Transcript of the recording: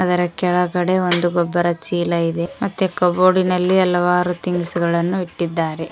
ಅದರ ಕೆಳಗಡೆ ಒಂದು ಗೊಬ್ಬರ ಚೀಲ ಇದೆ ಮತ್ತು ಕಬೋರ್ಡಿನಲ್ಲಿ ಹಲವಾರು ಥಿಂಗ್ಸ್ಗಳನ್ನ ಇಟ್ಟಿದ್ದಾರೆ.